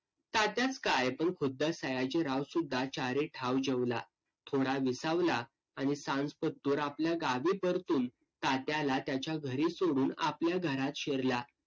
तात्याच काय पण खुद्द सयाजीरावसुद्धा चारे ठाव जेवला. थोडा विसावला, आणि सांजपातूर आपल्यागावी परतून तात्याला त्याच्या घरी सोडून आपल्या घरात शिरला.